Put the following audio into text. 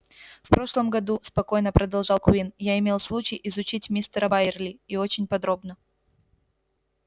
в прошлом году спокойно продолжал куинн я имел случай изучить мистера байерли и очень подробно